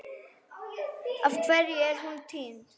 Af hverju er hún týnd?